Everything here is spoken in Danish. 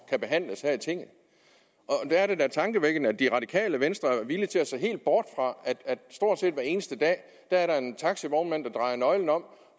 kan behandles her i tinget der er det da tankevækkende at det radikale venstre er villig til at se helt bort fra at der stort set hver eneste dag er en taxivognmand der drejer nøglen om